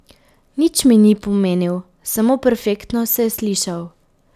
Nič mi ni pomenil, samo perfektno se je slišal.